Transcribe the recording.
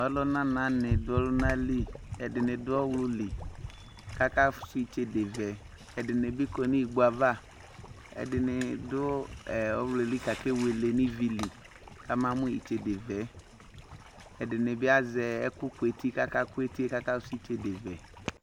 Ɔlʊna nanɩ dʊ ɔlʊnalɩ ɛdɩnɩ dʊ ɔwlʊlɩ kʊ akafʊsʊ ɩtsedevɛ ɛdɩnɩ kɔ nʊ igboava ɛdɩnɩ dʊ ɔwlʊelɩ kʊ ake wele nʊ ivili kamamʊ ɩtsedevɛɛ ɛdɩnɩbɩ azɛ ɛkʊ kʊetɩ kakafʊsʊ ɩtsedevɛ